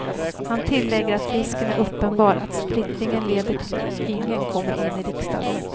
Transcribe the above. Han tillägger att risken är uppenbar att splittringen leder till att ingen kommer in i riksdagen.